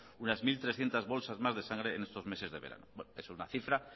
unas mil trescientos bolsas más de sangre en estos meses de verano es una cifra